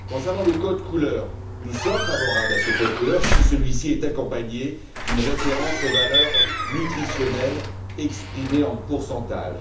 Concernant le code couleur, nous sommes favorables à ce code couleur si celui ci est accompagné d'une référence aux valeurs nutritionnelles exprimées en pourcentage.